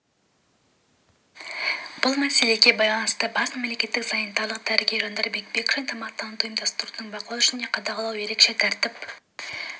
бұл мәселеге байланысты бас мемлекеттік санитарлық дәрігер жандарбек бекшин тамақтанудың ұйымдастырылуын бақылау және қадағалау ерекше тәртіп